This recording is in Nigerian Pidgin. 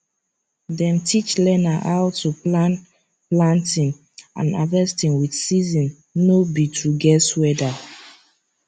dem teach learner how to plan planting and harvesting with season no be to guess weather